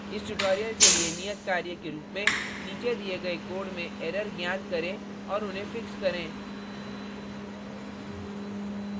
इस tutorial के लिए नियत कार्य के रुप में नीचे दिए गए code में एरर ज्ञात करें और उन्हें fix करें